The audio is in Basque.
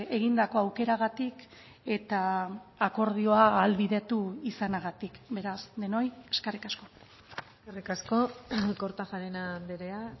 egindako aukeragatik eta akordioa ahalbidetu izanagatik beraz denoi eskerrik asko eskerrik asko kortajarena andrea